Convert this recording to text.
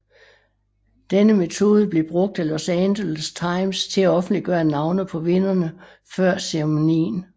Denne metode blev brugt af Los Angeles Times til at offentliggøre navne på vinderne før ceremonien